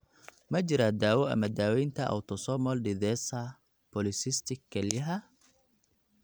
Ma jiraa daawo ama daawaynta autosomal dithesa polycystic kelyaha?